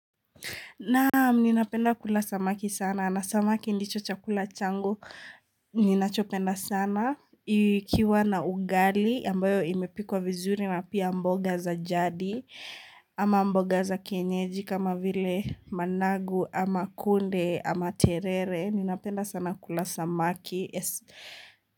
Naam, ninapenda kula samaki sana na samaki ndicho chakula changu ninachopenda sana ikiwa na ugali ambayo imepikwa vizuri na pia mboga za jadi ama mboga za kenyeji kama vile managu ama kunde ama terere ninapenda sana kula samaki.